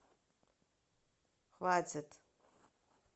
хватит